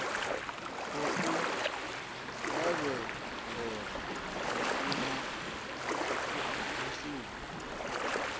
khou lavhelelwa u shuma mushumo